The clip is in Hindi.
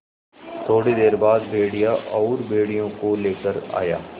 थोड़ी देर बाद भेड़िया और भेड़ियों को लेकर आया